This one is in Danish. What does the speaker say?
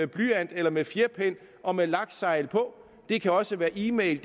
blyant eller med fjerpen og med laksegl på det kan også være e mail